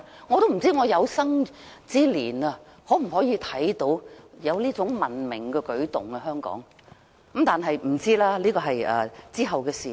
我不知我有生之年是否有機會看到香港出現這種文明的舉動，現在真的不知道，這是往後的事。